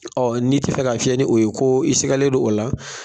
n'i tɛ fɛ ka fiyɛ ni o ye ko i sigalen don o la.